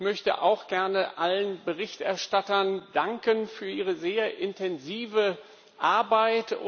Ich möchte auch gerne allen Berichterstattern danken für ihre sehr intensive Arbeit.